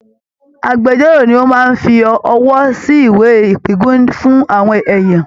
Âgbẹjọ́rò ni ó máa ń fi ọwọ́ sí ìwé ìpíngún fún àwọn èèyàn